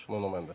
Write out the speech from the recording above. Nuno Mendes.